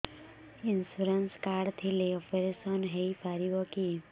insurance card ଥିଲେ operation ହେଇପାରିବ କି